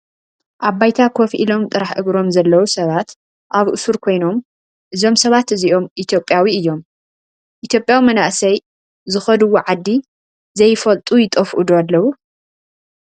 ኣባይታ ኮፍ ኢሎም ጥራሕ እግሮም ዘለው ሰባት ኣብ እሱር ኮይኖም እዞም ሰባት እዚኦም ኢትዮጰያ እዮም:: ኢትዮጰያ መናእሰይ ዝከድዎ ዓዲ ዘይፈልጡ ይጠፍኡ ዶ ኣለው ?